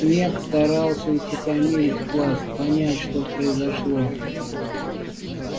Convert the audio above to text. снегг старался утихомирить класс понять что произошло